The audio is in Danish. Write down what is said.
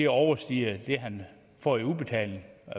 overstiger det han får i udbetaling